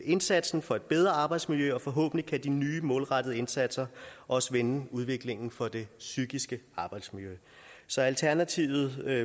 indsatsen for et bedre arbejdsmiljø og forhåbentlig kan de nye målrettede indsatser også vende udviklingen for det psykiske arbejdsmiljø så alternativet er